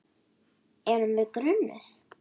Erum við grunuð?